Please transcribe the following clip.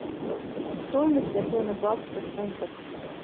стоимость обмена баксов в фунтах